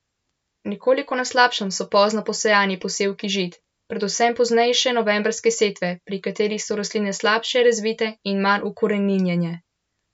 Nekoliko na slabšem so pozno posejani posevki žit, predvsem poznejše novembrske setve, pri katerih so rastline slabše razvite in manj ukoreninjene.